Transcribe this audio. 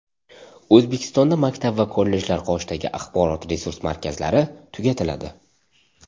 O‘zbekistonda maktab va kollejlar qoshidagi axborot-resurs markazlari tugatiladi.